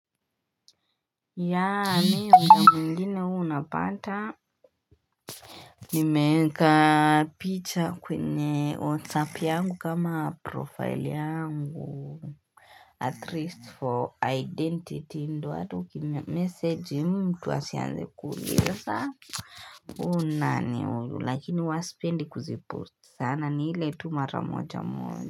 Mi muda mwingine huwa unapata nimeeka picha kwenye whatsapp yangu kama profile yangu at least for identity ndio hata uki message mtu asianze kuulisa huu ni nani huyu lakini huwa sipendi kuzipost sana ni ile tu mara moja moja.